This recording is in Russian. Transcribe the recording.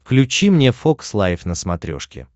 включи мне фокс лайф на смотрешке